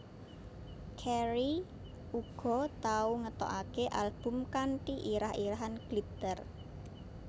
Carey uga tau ngetokake album kanthi irah irahan Glitter